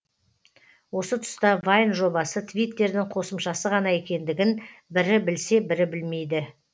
осы тұста вайн жобасы твиттердің қосымшасы ғана екендігін бірі білсе бірі білмейді